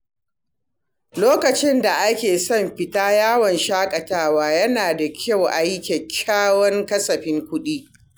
Lokacin da ake son fita yawon shaƙatawa, yana da kyau a yi kyakkyawan kasafin kuɗi.